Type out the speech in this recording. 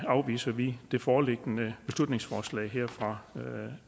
afviser vi det foreliggende beslutningsforslag fra